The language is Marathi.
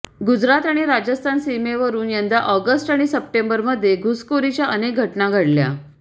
गुजरात आणि राजस्थान सीमेवरून यंदा ऑगस्ट आणि सप्टेंबरमध्ये घुसखोरीच्या अनेक घटना घडल्या